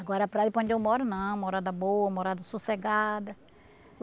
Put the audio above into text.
Agora para ir para onde eu moro não, morada boa, morada sossegada.